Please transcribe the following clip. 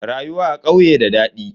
Rayuwa a ƙauye da dadi.